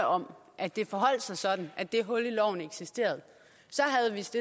om at det forholdt sig sådan at det hul i loven eksisterede